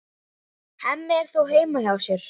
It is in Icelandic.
Hemmi er þó heima hjá sér.